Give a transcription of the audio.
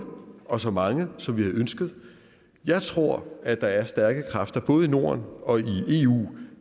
og så mange som vi havde ønsket jeg tror at der er stærke kræfter både i norden og i eu